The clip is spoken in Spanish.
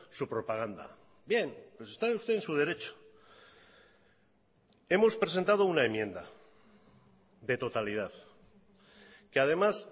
su propaganda bien pues está usted en su derecho hemos presentado una enmienda de totalidad que además